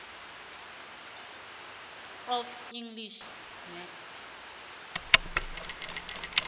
of english text